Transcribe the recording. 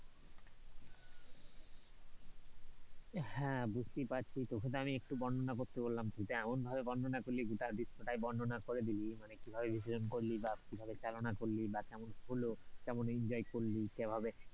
হ্যাঁ, বুঝতেই পারছি তোকে তো আমি একটু বর্ণনা করতে বললাম, তুই তো এমন ভাবে বর্ণনা করলি গোটা বিশ্ব টাই বর্ণনা করে দিলি, মানে কিভাবে বিসর্জনকরলি, বা কিভাবে পরিচালনা করলি, বা কেমন হলো, কেমন enjoy করলি কিভাবে,